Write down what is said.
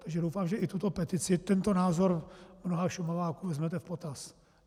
Takže doufám, že i tuto petici, tento názor mnoha Šumaváků, vezmete v potaz.